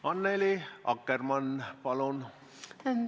Annely Akkermann, palun!